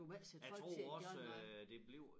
Jeg tror også øh det blev